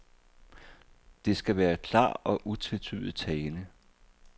Det skal være klar og utvetydig tale.